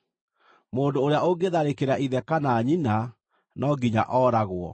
“Mũndũ ũrĩa ũngĩtharĩkĩra ithe kana nyina no nginya ooragwo.